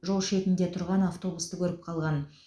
жол шетінде тұрған автобусты көріп қалған